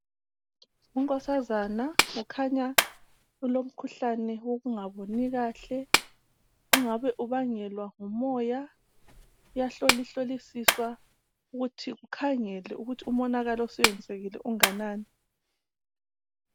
Unkosazana ukhanya elomkhuhlane wamehlo ongabe ubangelwa ngumoya ,uyahlolihlolisa ukuthi kukhangelwe umonakalo osuyenzekile ukuthi kungabe unganani.